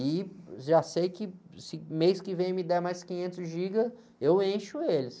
E já sei que se mês que vem me der mais quinhentos gigas, eu encho eles.